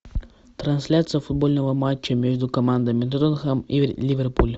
трансляция футбольного матча между командами тоттенхэм и ливерпуль